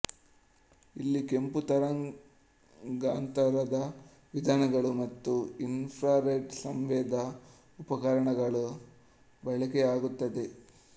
ಇಲ್ಲಿ ಕೆಂಪು ತರಂಗಾಂತರದ ವಿಧಾನಗಳು ಮತ್ತು ಇನ್ ಫ್ರಾರೆಡ್ ಸಂವೇದಿ ಉಪಕರಣಗಳ ಬಳಕೆಯಾಗುತ್ತದೆ